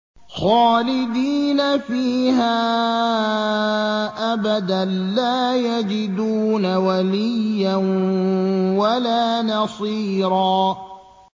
خَالِدِينَ فِيهَا أَبَدًا ۖ لَّا يَجِدُونَ وَلِيًّا وَلَا نَصِيرًا